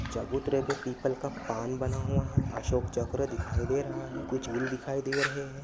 चबूतरे पे पीपल का पान बना हुआ है अशोक चक्र दिखाई दे रहा है कुछ फूल दिखाई दे रहे है।